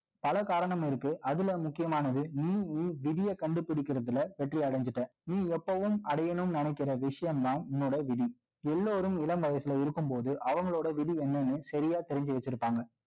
பல காரணம் இருக்கு. அதுல முக்கியமானது, நீ விதிய கண்டுபிடிக்கிறதுல வெற்றி அடைஞ்சிட்ட. நீ எப்பவும்நினைக்கிற விஷயம்தான், உன்னோட விதி. எல்லாரும், இளம் வயசுல இருக்கும்போது, அவங்களோட விதி என்னன்னு, சரியா தெரிஞ்சு வச்சிருப்பாங்க